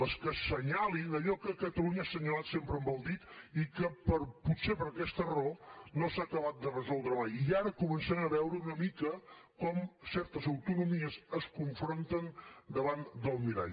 les que assenyalin allò que catalunya ha assenyalat sempre amb el dit i que potser per aquesta raó no s’ha acabat de resoldre mai i ara començaran a veure una mica com certes autonomies es confronten davant del mirall